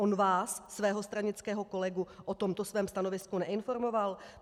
On vás, svého stranického kolegu, o tomto svém stanovisku neinformoval?